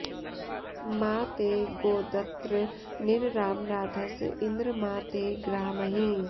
मा ते॑ गोदत्र॒ निर॑राम॒ राध॑स॒ इन्द्र॒ मा ते॑ गृहामहि